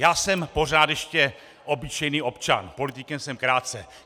Já jsem pořád ještě obyčejný občan, politikem jsem krátce.